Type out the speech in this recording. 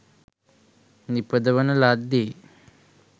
නිපදවන ලද්දේ